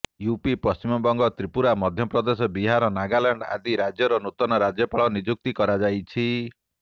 UP Paschimbanga Tripura Madhya Pradesh Bihar Nagaland ଆଦି ରାଜ୍ୟରେ ନୂତନ ରାଜ୍ୟପାଳ ନିଯୁକ୍ତି କରାଯାଇଛି